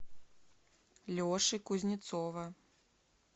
леши кузнецова